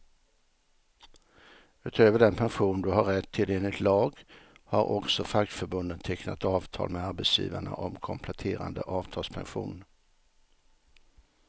Utöver den pension du har rätt till enligt lag, har också fackförbunden tecknat avtal med arbetsgivarna om kompletterande avtalspension.